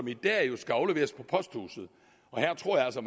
i dag skal afleveres på posthuset her tror jeg altså